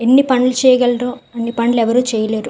ఎన్ని పనులు చేయగలరు అన్ని పనులు ఎవరు చేయలేరు.